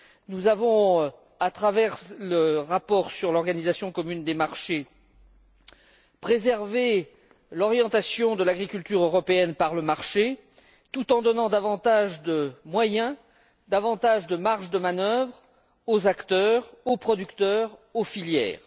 Nous avons, à travers le rapport sur l'organisation commune des marchés, préservé l'orientation de l'agriculture européenne par le marché, tout en donnant davantage de moyens et de marge de manœuvre aux acteurs, aux producteurs et aux filières.